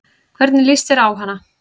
Hvernig lýst þér á hana?